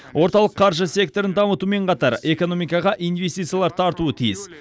орталық қаржы секторын дамытумен қатар экономикаға инвестициялар тартуы тиіс